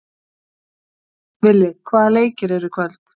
Villi, hvaða leikir eru í kvöld?